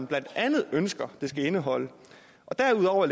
blandt andet ønsker det skal indeholde derudover